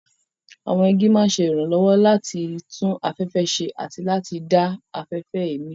Àwọn igi máa ń ṣe ìrànlọ́wọ́ láti tún afẹ́fẹ́ ṣe àti láti dá afẹ́fẹ́ èémí.